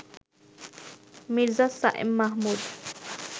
Mirza Sayem Mahmud